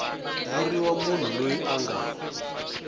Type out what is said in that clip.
vuriwa munhu loyi a nga